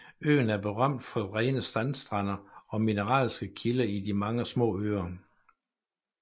Øen er berømt for rene sandstrande og mineralske kilder i de mange små søer